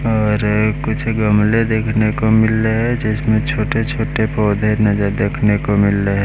और कुछ गमले देखने को मिल रहे जिसमें छोटे छोटे पौधे नजर देखने को मिल रहे--